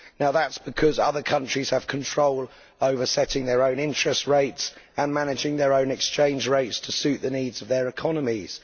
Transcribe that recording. That is because other countries have control over setting their own interest rates and managing their own exchange rates to suit the needs of their economies.